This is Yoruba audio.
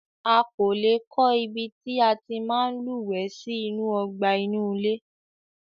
A lé kọ́ ibi tí a tí máa ń lúwẹ̀ẹ́ sí inú ọgbà inú ilé.